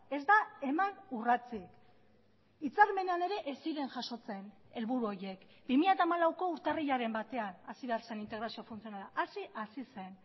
ez da eman urratsik hitzarmenean ere ez ziren jasotzen helburu horiek bi mila hamalauko urtarrilaren batean hasi behar zen integrazio funtzionala hasi hasi zen